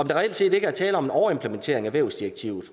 der reelt set ikke er tale om en overimplementering af vævsdirektivet